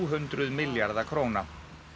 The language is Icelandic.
hundruð milljarða króna